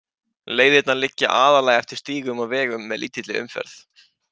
Leiðirnar liggja aðallega eftir stígum og vegum með lítilli umferð.